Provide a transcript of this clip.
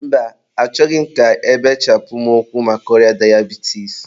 mba, achọghị m ka ebechapụ mụ ụkwụ maka ọrịa dayabitis.